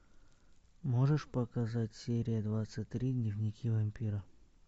можешь показать серия двадцать три дневники вампира